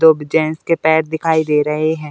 दो-ब gents के पैर दिखाई दे रहे हैं।